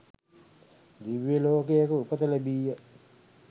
දිව්‍යලෝකයක උපත ලැබීය.